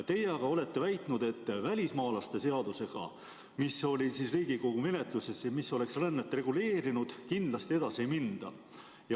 Teie aga olete väitnud, et välismaalaste seadusega, mis oli Riigikogu menetluses ja mis oleks rännet reguleerinud, kindlasti edasi ei minda.